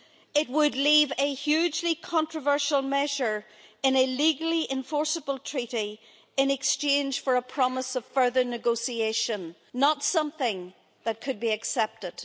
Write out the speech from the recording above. It would leave a hugely controversial measure in a legally enforceable treaty in exchange for a promise of further negotiation not something that could be accepted.